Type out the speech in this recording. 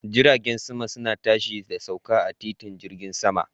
Jiragen sama suna tashi da sauka a titin jirgin sama.